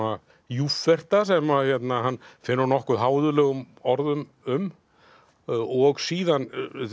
júfferta sem hann fer nokkuð háðuglegum orðum um og síðan